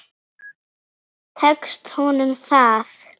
Tekst honum það?